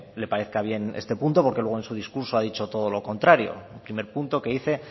le parezca bien este punto porque luego en su discurso ha dicho todo lo contrario el primer punto que dice